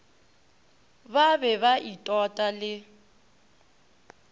ba be ba itota le